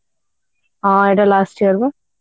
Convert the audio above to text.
ହଁ ଏଇଟା last year ବା